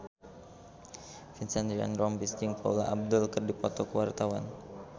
Vincent Ryan Rompies jeung Paula Abdul keur dipoto ku wartawan